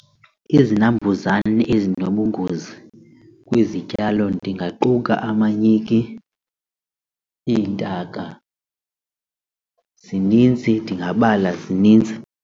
Izinambuzane ezinobungozi kwizityalo ndingaquka amanyiki, iintaka zininzi ndingabala zininzi.